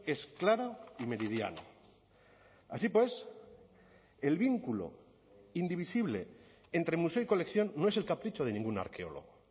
es clara y meridiana así pues el vínculo indivisible entre museo y colección no es el capricho de ningún arqueólogo